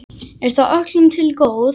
Er það öllum til góðs?